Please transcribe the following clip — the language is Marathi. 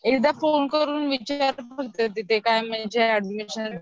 एकदा फोन करून विचार फक्त ते ऍडमिशन